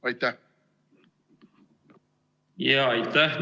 Aitäh!